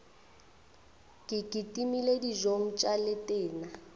ke kitimele dijong tša letena